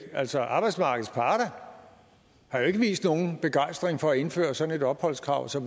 altså arbejdsmarkedets parter har jo ikke vist nogen begejstring for at indføre sådan et opholdskrav så